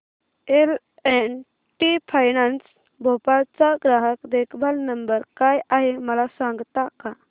L and T finance Bhopal चा ग्राहक देखभाल नंबर काय आहे मला सांगता का